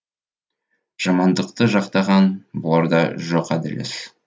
жамандықты жақтаған бұларда жоқ әділ іс